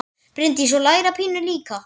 Bryndís: Og læra pínu líka?